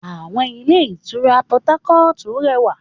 Àwọn ilé ìtura Portharcourt rẹwà